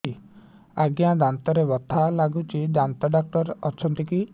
ଆଜ୍ଞା ଦାନ୍ତରେ ବଥା ଲାଗୁଚି ଦାନ୍ତ ଡାକ୍ତର ଅଛି କି